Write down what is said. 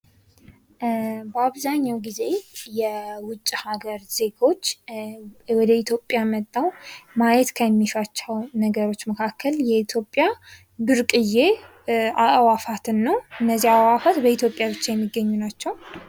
አብዛኛውን ጊዜ የውጭ ሀገር ዜጎች ወደ ኢትዮጵያ መጥተው ማየት ከሚሿቸው ነገሮች መካከል የኢትዮጵያ ብርቅዬ አዕዋትን ነው። እነዚህ አዕዋትን በኢትዮጵያ ብቻ የሚገኙ ናቸው።